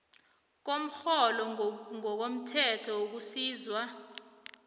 komrholo ngokomthetho wokusizwa